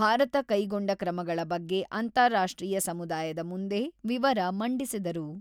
ಭಾರತ ಕೈಗೊಂಡ ಕ್ರಮಗಳ ಬಗ್ಗೆ ಅಂತಾರಾಷ್ಟ್ರೀಯ ಸಮುದಾಯದ ಮುಂದೆ ವಿವರ ಮಂಡಿಸಿದರು.